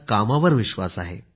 कामावर त्यांचा विश्वास आहे